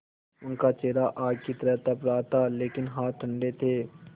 उनका चेहरा आग की तरह तप रहा था लेकिन हाथ ठंडे थे